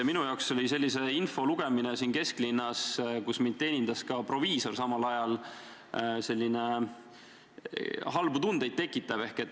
" Minus tekitas sellise info lugemine siin kesklinnas, kus mind samal ajal teenindas ka proviisor, halbu tundeid.